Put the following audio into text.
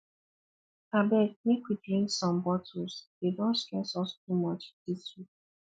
abeg make we drink some bottles dey don stress us too much dis week